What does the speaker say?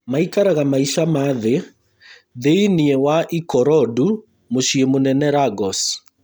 Maikaraga maica ma thĩ thĩini wa Ikorodu mũciĩ mũnene Lagos